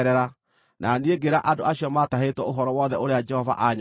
na niĩ ngĩĩra andũ acio maatahĩtwo ũhoro wothe ũrĩa Jehova aanyonetie.